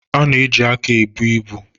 A na-eji aka ebu ibu